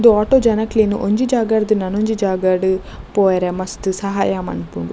ಉಂದು ಆಟೋ ಜನೊಕ್ಲೆನ್ ಒಂಜಿ ಜಾಗರ್ದ್ ನನೊಂಜಿ ಜಾಗಡ್ ಪೋಯರೆ ಮಸ್ತ್ ಸಹಾಯ ಮಲ್ಪುಂಡು.